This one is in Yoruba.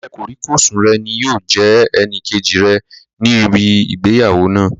Ọ̀rẹ́ kòríkòsùn rẹ̀ ni yóò jẹ́ ẹnìkejì rẹ̀ ní ibi ìgbéyàwó náà